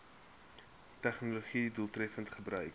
tegnologië doeltreffend gebruik